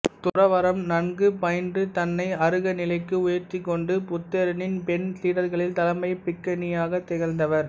துறவறம் நன்கு பயின்று தன்னை அருக நிலைக்கு உயர்த்திக் கொண்டு புத்தரின் பெண் சீடர்களில் தலைமைப் பிக்குணியாக திகழ்ந்தவர்